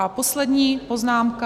A poslední poznámka.